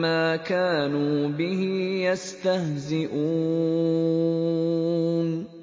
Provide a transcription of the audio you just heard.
مَّا كَانُوا بِهِ يَسْتَهْزِئُونَ